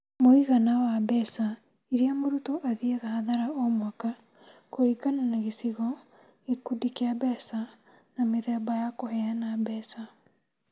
Mũigana wa mbeca iria mũrutwo athiaga hathara o mwaka kũringana na gĩcigo, gĩkundi kĩa mbeca, na mĩthemba ya kũheana mbeca.